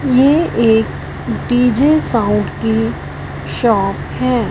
ये एक DJ sound की शॉप है।